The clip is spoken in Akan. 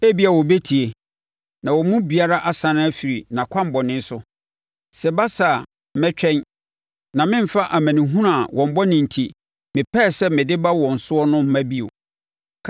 Ebia wɔbɛtie, na wɔn mu biara asane afiri nʼakwammɔne so. Sɛ ɛba saa a, mɛtwɛn, na meremfa amanehunu a wɔn bɔne enti, mepɛɛ sɛ mede ba wɔn so no mma bio.